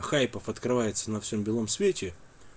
хайпов открывается на всем белом свете